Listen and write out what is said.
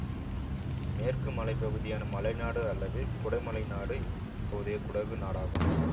மேற்கு மலை பகுதியான மலைநாடு அல்லது குடமலைநாடு இப்போதைய குடகு நாடாகும்